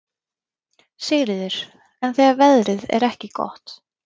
Sigríður: En þegar veðrið er ekki gott?